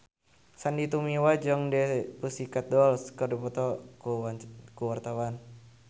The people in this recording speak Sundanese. Sandy Tumiwa jeung The Pussycat Dolls keur dipoto ku wartawan